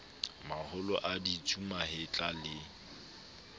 maholo a ditsu mahetla le